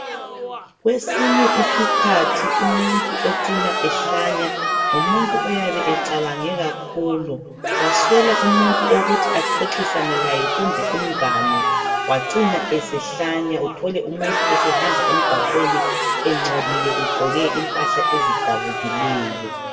Kwesinye isikhathi umuntu ocina ehlanya, ngumuntu oyabe acabange kakhulu, waswela umuntu wokuthi axoxisane laye kumbe umngane wacina esehlanya. Uthole umuntu esehamba emgwaqweni engcolile egqoke impahla ezidabukileyo.